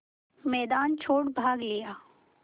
मैदान छोड़ भाग लिया